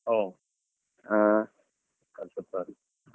ಓಹ್ ಹಾ .